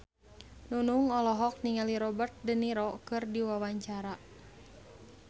Nunung olohok ningali Robert de Niro keur diwawancara